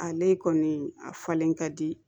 Ale kɔni a falen ka di